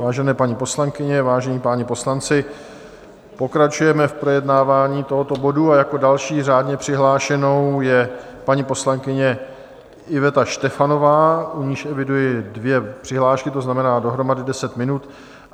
Vážené paní poslankyně, vážení páni poslanci, pokračujeme v projednávání tohoto bodu a jako další řádně přihlášenou je paní poslankyně Iveta Štefanová, u níž eviduji dvě přihlášky, to znamená dohromady deset minut.